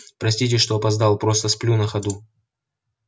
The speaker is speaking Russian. простите что опоздал просто сплю на ходу